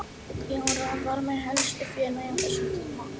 Jóra var minn helsti félagi á þessum tíma.